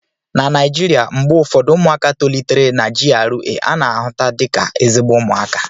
na Naijiria, mgbe ụfọdụ ụmụaka tolitere na GRA ana-ahụta dị ka ezigbo ụmụaka